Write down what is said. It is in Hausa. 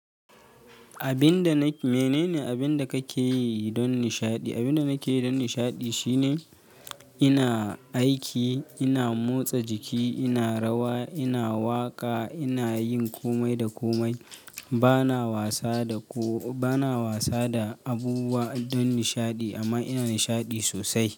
Abin da na, menene abin da kake yi don nishaɗi? Abin da nake yi don nishaɗi shine ina aiki, ina motsa jiki, ina rawa, ina waƙa, ina yin komai da komai. Bana wasa da ko, bana wasa da abubuwa don nishaɗi amma ina nishaɗi sosai.